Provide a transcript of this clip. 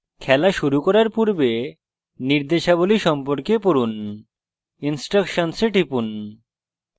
খেলা শুরু করার পূর্বে নির্দেশাবলী সম্পর্কে পড়ুন instructions এ টিপুন